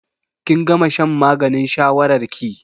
Kin gama shan maganin shawarar ki?